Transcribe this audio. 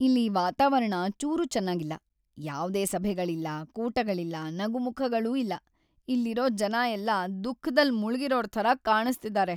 ಇಲ್ಲಿ ವಾತಾವರಣ ಚೂರೂ ಚೆನ್ನಾಗಿಲ್ಲ.. ಯಾವ್ದೇ ಸಭೆಗಳಿಲ್ಲ, ಕೂಟಗಳಿಲ್ಲ, ನಗುಮುಖಗಳೂ ಇಲ್ಲ. ಇಲ್ಲಿರೋ ಜನ ಎಲ್ಲ ದುಃಖದಲ್ಲ್ ಮುಳ್ಗಿರೋರ್‌ ಥರ ಕಾಣಿಸ್ತಿದಾರೆ.